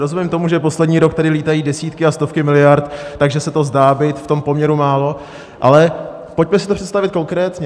Rozumím tomu, že poslední rok tady lítají desítky a stovky miliard, takže se to zdá být v tom poměru málo, ale pojďme si to představit konkrétně.